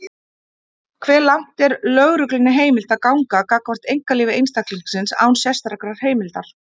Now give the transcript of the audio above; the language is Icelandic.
Hve langt er lögreglunni heimilt að ganga gagnvart einkalífi einstaklings, án sérstakrar heimildar?